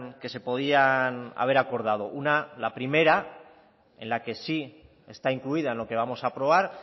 que se podían haber acordado una la primera en la que sí está incluida en lo que vamos a aprobar